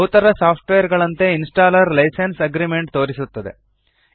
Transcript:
ಬಹುತರ software ಗಳಂತೆ installer license agreement ತೋರಿಸುತ್ತದೆ